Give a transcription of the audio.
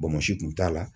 kun t'a la